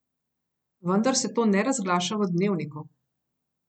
Vendar se to ne razglaša v Dnevniku.